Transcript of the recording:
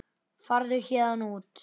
Farðu héðan út.